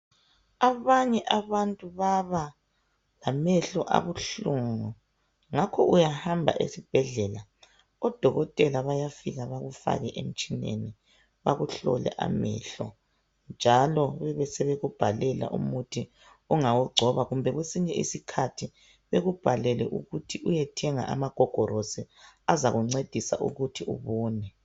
abanye abantu baba lamehlo abuhlungu ngakho uyahamba esibhedlela odokotela bayafika bakufake emtshineni bakuhlole amehlo njalo bebesebekubhalela umuthi ongawugcoba kumbe kwesinye isikhathi bekubhalele ukuthi uyethenga amagogolosi azakuncedisa ukuthi ubone